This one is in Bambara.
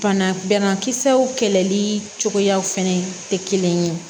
Fana bɛlakisɛw kɛlɛli cogoya fɛnɛ tɛ kelen ye